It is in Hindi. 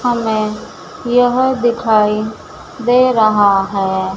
हमें यह दिखाई दे रहा है।